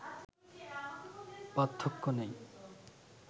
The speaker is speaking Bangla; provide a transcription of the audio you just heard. পার্থক্য নেই